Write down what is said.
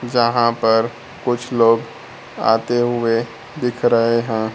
जहां पर कुछ लोग आते हुए दिख रहे हैं।